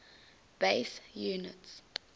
base units